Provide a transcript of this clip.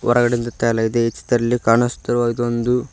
ಹೊರಗಡೆಯಿಂದ ತೆಗೆಯಲಾಗಿದೆ ಈ ಚಿತ್ರದಲ್ಲಿ ಕಾಣಿಸ್ತಿರುವುದು ಒಂದು--